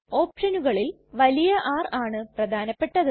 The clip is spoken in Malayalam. ഓപ്ഷനുകളിൽ വലിയ R ആണ് പ്രധാനപെട്ടത്